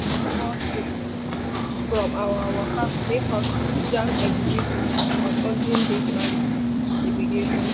small shift from our waka make us jam exhibit on olden days maritime navigation.